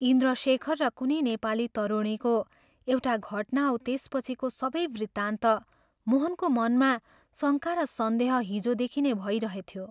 इन्द्रशेखर र कुनै नेपाली तरुणीको एउटा घटना औ त्यसपछिको सबै वृत्तान्त मोहनको मनमा शङ्का र सन्देह हिजोदेखि नै भइरहेथ्यो।